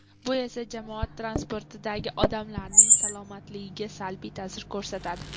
Bu esa jamoat transportidagi odamlarning salomatligiga salbiy ta’sir ko‘rsatadi.